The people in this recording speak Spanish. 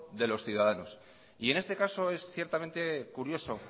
de los ciudadanos y en este caso es ciertamente curioso